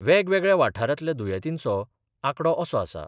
वेगवेगळ्या वाठारातल्या दुयेतींचो आकडो असो आसा.